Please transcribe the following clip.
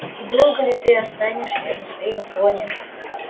и долго ли ты останешься на своём троне